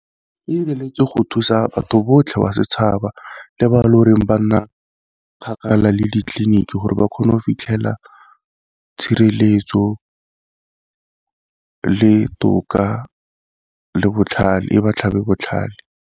E go thusa batho botlhe ba setšhaba le bao loreng ba nna kgakala le ditleliniki gore ba kgone go fitlhela tshireletso le toka le botlhale e ba tlhabe botlhale.